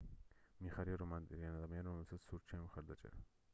მიხარია რომ არიან ადამიანები რომლებსაც სურთ ჩემი მხარდაჭერა